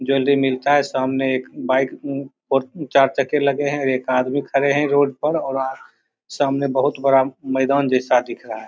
Jewellery मिलता है सामने एक बाइक उम फो चार चक्के लगे हैं एक आदमी खड़े हैं रोड पर और आ सामने बहुत बड़ा मैदान जैसा दिख रहा है।